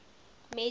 major league lacrosse